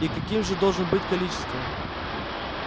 и каким же должно быть количество